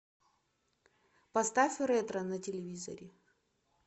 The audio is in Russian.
поставь ретро на телевизоре